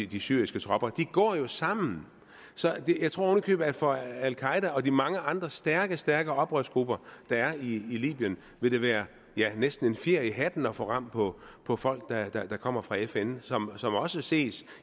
de syriske tropper de går jo sammen jeg tror oven i købet at for al qaeda og de mange andre stærke stærke oprørsgrupper der er i libyen vil det være næsten en fjer i hatten at få ram på på folk der kommer fra fn som også ses